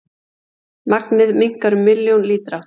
Magnið minnkar um milljón lítra